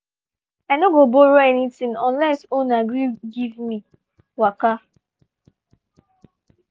i no go borrow anything unless owner gree give me waka.